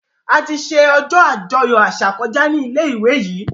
Àti ṣe ojó ajoyọ àṣà koja ní ilé ìwé yí.